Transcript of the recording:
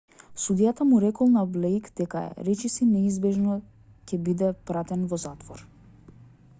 судијата му рекол на блејк дека е речиси неизбежно дека ќе биде пратен во затвор